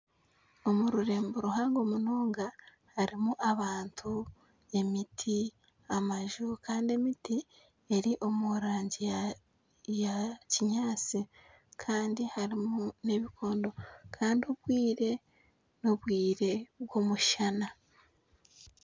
Omu rurembo ruhango munonga harimu abantu emiti amaju kandi emiti eri omu rangi ya kinyaatsi kandi harimu n'ebikondo kandi n'obwire bw'omushana